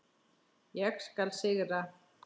Ég skal sigra!